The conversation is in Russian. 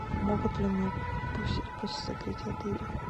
могут ли меня пустить после закрытия отеля